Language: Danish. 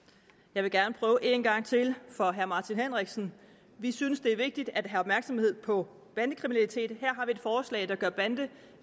jeg vil gerne prøve en gang til for herre martin henriksen vi synes det er vigtigt at have opmærksomhed på bandekriminalitet